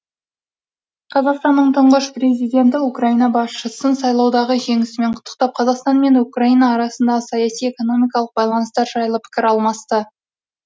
қазақстанның тұңғыш президенті украина басшысын сайлаудағы жеңісімен құттықтап қазақстан мен украина арасындағы саяси экономикалық байланыстар жайлы пікір алмасты